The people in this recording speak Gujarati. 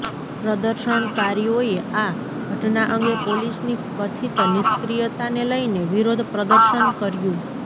પ્રદર્શનકારીઓએ આ ઘટના અંગે પોલીસની કથિત નિષ્ક્રિયતાને લઈને વિરોધ પ્રદર્શન કર્યું